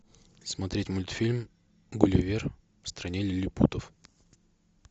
смотреть мультфильм гулливер в стране лилипутов